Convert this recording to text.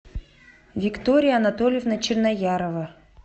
виктория анатольевна черноярова